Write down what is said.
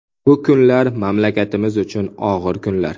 Bu kunlar mamlakatimiz uchun og‘ir kunlar.